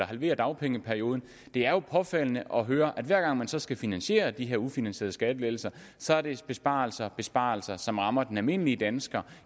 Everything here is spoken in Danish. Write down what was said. halvere dagpengeperioden det er jo påfaldende at høre at hver gang man så skal finansiere de her ufinansierede skattelettelser så er det besparelser og besparelser som rammer den almindelige dansker